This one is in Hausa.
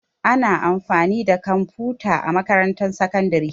Ana amfani da kwamfuta a makarantar sakandare.